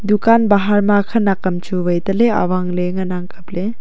dukan bahar ma khanak am chu wai tale awang ley ngan ang kapley.